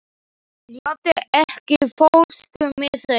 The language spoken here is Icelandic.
Laddi, ekki fórstu með þeim?